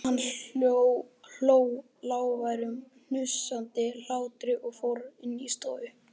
Hann hló, lágværum, hnussandi hlátri og fór inn í stofu.